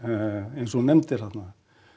eins og þú nefndir þarna